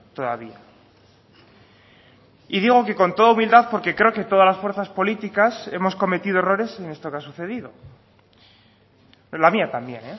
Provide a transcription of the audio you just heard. todavía y digo que con toda humildad porque creo que todas las fuerzas políticas hemos cometido errores en esto que ha sucedido la mía también